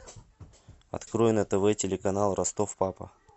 открой на тв телеканал ростов папа